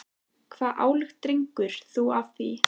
Hvaða ályktun dregur þú af því?